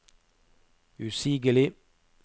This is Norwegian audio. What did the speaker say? usigelig